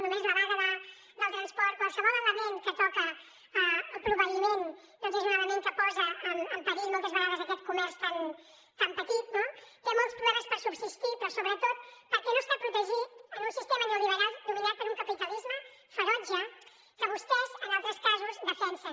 només la vaga del transport qualsevol element que toca el proveïment doncs és un element que posa en perill moltes vegades aquest comerç tan petit no té molts problemes per subsistir però sobretot perquè no està protegit en un sistema neoliberal dominat per un capitalisme ferotge que vostès en altres casos defensen